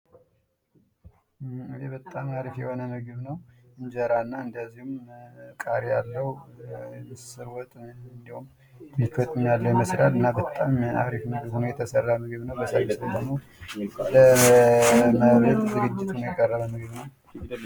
ይህ በጣም አሪፍ የሆነ ምግብ ነው እንጀረሠና ቃሪያ አለው። ምስር ወጥ እንዲሁም አትክልትም ያለው ይመስላል እና በጣም አሪፍ ምግብ ነውየተሰራ ምግብ ነው። በሳይንሱም ደሞ ለመብል ዝግጅት ሁኖ የቀረበ ምግብ ነው።